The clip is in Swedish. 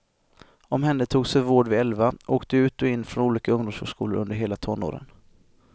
Omhändertogs för vård vid elva, åkte ut och in från olika ungdomsvårdsskolor under hela tonåren.